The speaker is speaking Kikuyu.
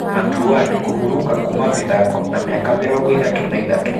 Andre Ward kũburuka kuuma mĩthako na mĩaka mĩrongo ĩthatũ na ĩthatũ.